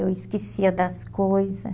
Eu esquecia das coisa.